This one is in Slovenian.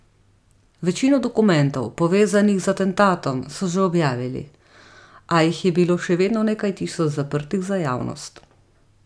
Večino dokumentov, povezanih z atentatom, so že objavili, a jih je bilo še vedno nekaj tisoč zaprtih za javnost.